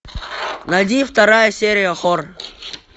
найди вторая серия хор